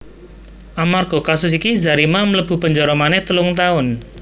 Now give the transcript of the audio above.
Amarga kasus iki Zarima mlebu penjara manéh telung taun